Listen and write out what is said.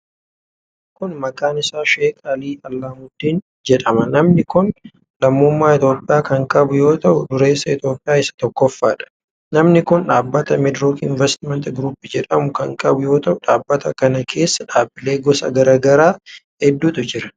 Namni kun ,maqaan isaa Sheek Alii Allaahmuddiin jedhama. Namni kun lammummaa Itoophiyaa kan qabu yoo ta'u, dureessa Itoophiyaa isa tokkoffaa dha. Namni kun dhaabbata Meedrook Inveestimant Group jedhamu kan qabu yoo ta'u, dhaabbata kana keessa dhaabbilee gosa garaa garaa heddutu jiru.